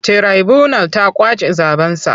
Tiraibunal ta ƙwace zaɓensa.